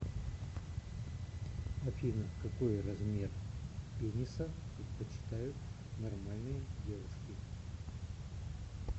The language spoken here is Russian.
афина какой размер пениса предпочитают нормальные девушки